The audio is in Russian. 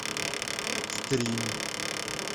стрим